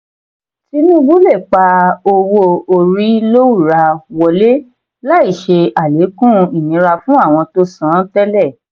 tinubu le pa owó-orí lowura wọlé láì ṣe alekun ìnira fún àwọn tó san tẹlẹ.